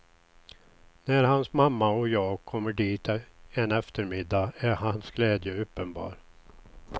När hans mamma och jag kommer dit en eftermiddag är hans glädje uppenbar.